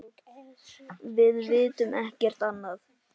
Við vitum ekkert annað.